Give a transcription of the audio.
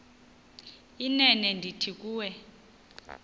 inene ndithi kuwe